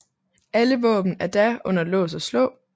Alle våben er da under lås og slå